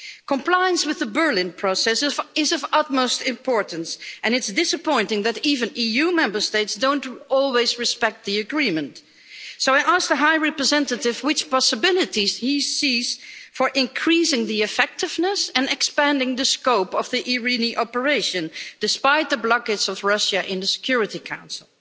Compliance with the Berlin Process is of utmost importance, and it's disappointing that even EU Member States don't always respect the agreement. So I ask the High Representative which possibilities he sees for increasing the effectiveness and expanding the scope of Operation IRINI, despite the blockage by Russia in the Security Council.